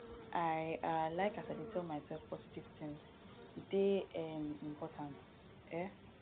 i um like as i dey tell mysef positive tins e dey um important um